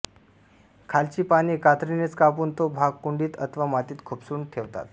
खालची पाने कात्रीनेच कापून तो भाग कुंडीत अथवा मातीत खुपसून ठेवतात